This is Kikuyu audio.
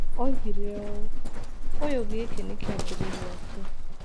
Oigire ũũ: "Ũyũ gikĩ nĩ kĩambĩrĩria tu.